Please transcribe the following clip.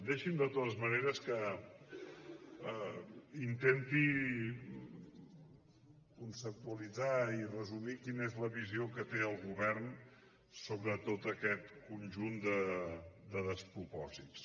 deixi’m de totes maneres que intenti conceptualitzar i resumir quina és la visió que té el govern sobre tot aquest conjunt de despropòsits